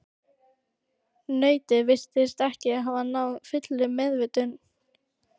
Nautið virtist ekki hafa náð fullri meðvitund.